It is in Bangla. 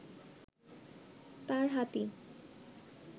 তাঁর হাতি